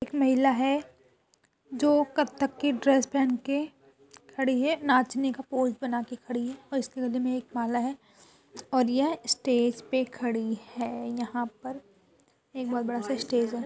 एक महिला है जो कत्थक की ड्रेस पेहन के खड़ी है नाचने का पोज बना के खड़ी है और उसके गले में एक माला है और यह स्टेज पे खड़ी है यहाँ पर एक बहुत बड़ा सा स्टेज है।